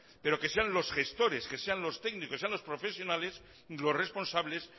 pero que sean los gestores que sean los técnicos que sean los profesionales los responsables